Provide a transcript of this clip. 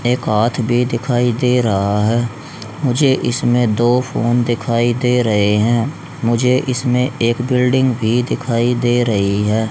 एक हाथ भी दिखाई दे रहा है मुझे इसमें दो फोन दिखाई दे रहे हैं मुझे इसमें एक बिल्डिंग भी दिखाई दे रही है।